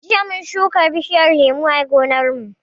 Jiya mun shuka bishiyar lemu a gonar mu